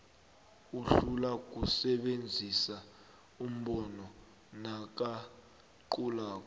uhlulwa kusebenzisa umbhobho nakaqulako